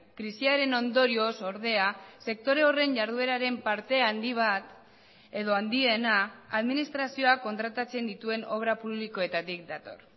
krisiaren ondorioz ordea sektore horren jardueraren parte handi bat edo handiena administrazioak kontratatzen dituen obra publikoetatik dator